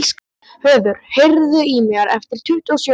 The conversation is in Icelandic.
Höður, heyrðu í mér eftir tuttugu og sjö mínútur.